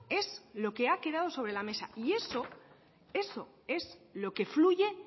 es lo que ha quedado sobre la mesa y eso eso es lo que fluye